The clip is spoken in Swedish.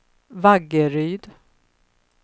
Vaggeryd